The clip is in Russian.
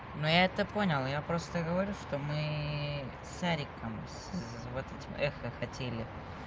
мы это понял я просто говорю что мы с яриком вот эти меха хотели